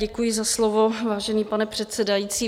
Děkuji za slovo, vážený pane předsedající.